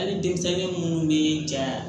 Hali denmisɛnni munnu be ja